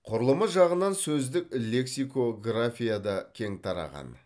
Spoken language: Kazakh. құрылымы жағынан сөздік лексикографияда кең тараған